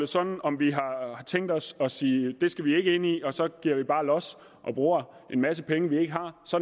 sådan om vi har tænkt os at sige det skal vi ikke ind i og så giver vi bare los og bruger en masse penge vi ikke har så